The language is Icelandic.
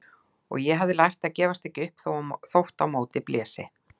Og ég hafði lært að gefast ekki upp þótt á móti blési.